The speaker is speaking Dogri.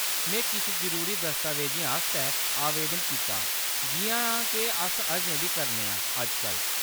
में किश जरूरी दस्तावेजें आस्तै आवेदन कीता जिʼयां के अस अजें बी करने आं अजकल्ल।